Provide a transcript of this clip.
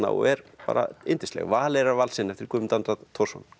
og er bara yndisleg Valeyrarvalsinn eftir Guðmund Andra Thorsson